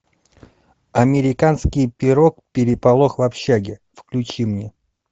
американский пирог переполох в общаге включи мне